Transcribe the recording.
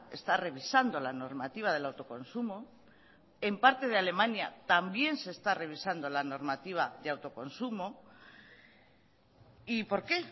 está revisando la normativa del autoconsumo en parte de alemania también se está revisando la normativa de autoconsumo y por qué